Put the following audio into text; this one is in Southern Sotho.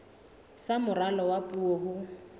sa moralo wa puo ho